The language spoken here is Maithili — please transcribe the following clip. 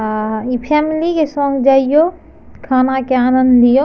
आ ई फॅमिली के संग जइयो खाना के आनंद लियो --